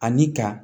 Ani ka